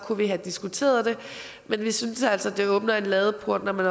kunne vi have diskuteret det men vi synes altså at det åbner en ladeport når man